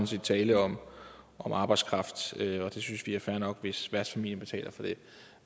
set tale om arbejdskraft vi synes det er fair nok hvis værtsfamilien betaler for det